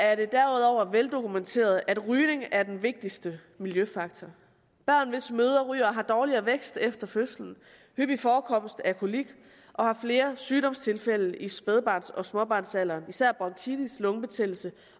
er det derudover veldokumenteret at rygning er den vigtigste miljøfaktor børn hvis mødre ryger har dårligere vækst efter fødslen hyppig forekomst af kolik og har flere sygdomstilfælde i spædbørns og småbarnsalderen især bronkitis lungebetændelse